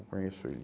Eu conheço ele.